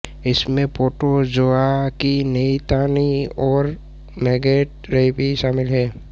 इसमें प्रोटोजोआ की तैनाती और मैगेट ेरेपी शामिल हैं